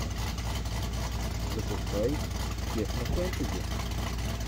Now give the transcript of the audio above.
запускай технофэнтези